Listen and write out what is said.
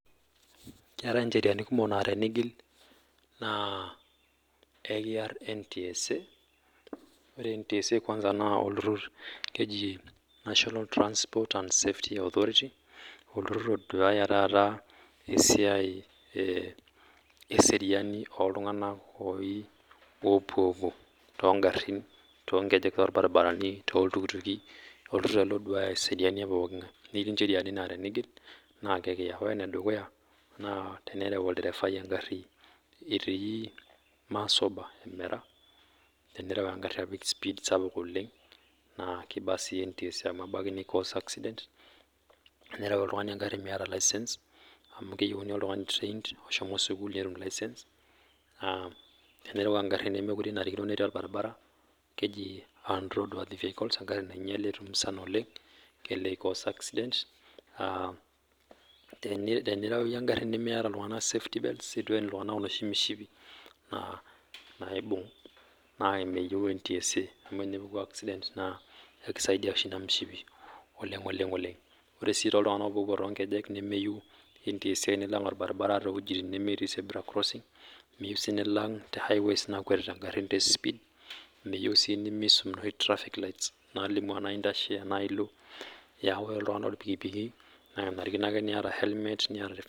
Ketai[njeriani kumok naa tenigil naa ekiar NTSA ore[NTSA kwanza naa olturur naa keji national transport service authority olturur oduaya tata esiai eseriani oltung'ana opuopuo too garin too nkejek torbaribarani too iltukutuki olturur ele oduaya eseriani tepooki ngae netii njerian naa tenigil naa ekiya ore enedukuya naa tenerew olderevai egari etii masoba tenerew egari apik spiid sapuk oleng naa kibaa sii NTSA amu kejo kelelek ekoz accident tenerew oltung'ani egari meeta license amu keyieuni oltung'ani trained ohomo sukuul netum license tenerew egari nemenarikino netii orbaribara keji unworthy road vehicle egari nainyiale etumusana oleng kelelek ekoz accident aa tenirew iyie egari neitu when iltung'ana safety bless eitu when iltung'ana enoshi mishipi naaibug naa meyieu NTSA amu tenepuku accident naa ekisaidia oshi ena moshipi oleng oleng ore sii too iltung'ana opuo too nkejek meyieu NTSA nilag orbaribara tewueji nemetii zebra crossing nemeyieu sii nilag tee higways nakwetita egarin tee speed meyieu sii [nimisum enoshi traffic lights]nalimu ena entashe tenaa elo amu ore iltung'ana loo irpikipiki naa kenarikino niata helmet